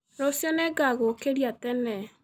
Rũciũ nĩngagũkĩria tene.